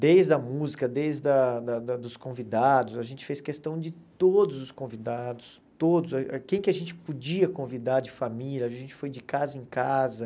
Desde a música, desde a da dos convidados, a gente fez questão de todos os convidados, todos quem que a gente podia convidar de família, a gente foi de casa em casa.